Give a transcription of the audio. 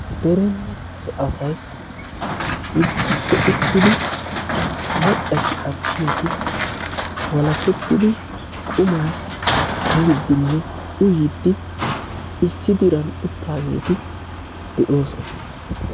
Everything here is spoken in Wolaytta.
derenne so asay issippe uttidi maccatinne attumati walakkettidi qumma miidinne uyyidi issi diran uttaageeti de'oosona.